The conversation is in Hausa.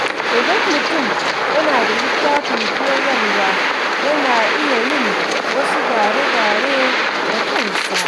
Idan mutum yana da littafin koyarwa, yana iya yin wasu gyare-gyare da kansa.